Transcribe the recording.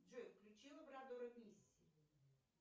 джой включи лабрадора мисси